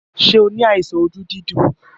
Ṣé o ní àìsàn ojú dídùn?